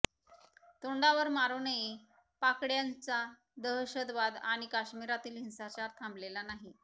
तोंडावर मारूनही पाकडय़ांचा दहशतवाद आणि कश्मीरातील हिंसाचार थांबलेला नाही